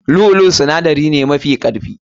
Lu'u lu'u sinadari ne mafi karfi.